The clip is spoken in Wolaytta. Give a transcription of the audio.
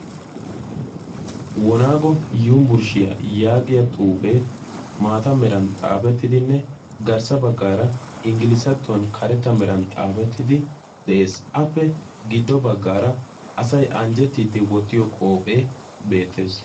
wonaago yuniburshshiyaa yaagiya xuufee maata meran xaafettidinne garssa baggaara inggilisattuwan karetta meran xaafettidi de7ees. appe giddo baggaara asai anjjettiiddi wottiyo qoophee beettees.